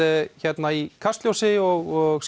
hérna í Kastljósinu og